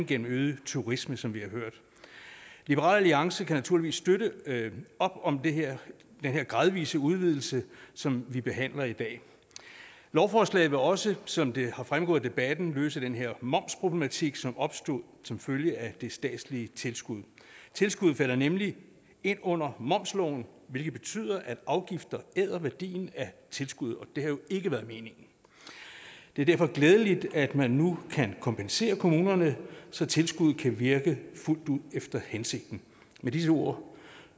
gennem øget turisme som vi har hørt liberal alliance kan naturligvis støtte op om den her gradvise udvidelse som vi behandler i dag lovforslaget vil også som det er fremgået af debatten løse den her momsproblematik som opstod som følge af det statslige tilskud tilskuddet falder nemlig ind under momsloven hvilket betyder at afgifter æder værdien af tilskuddet og det har jo ikke været meningen det er derfor glædeligt at man nu kan kompensere kommunerne så tilskuddet kan virke fuldt ud efter hensigten med disse ord